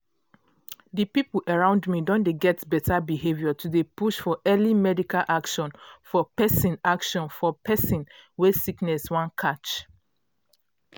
di people around me don dey get beta behavior to dey push for early medical action for persin action for persin wey sickness wan catch.